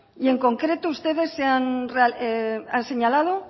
y en concreto ustedes han señalado